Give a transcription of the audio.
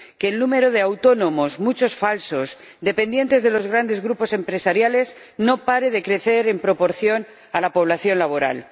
que el número de autónomos, muchos falsos, dependientes de los grandes grupos empresariales, no pare de crecer en proporción a la población laboral.